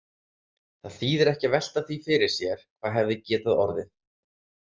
Það þýðir ekki að velta því fyrir sér hvað hefði getað orðið.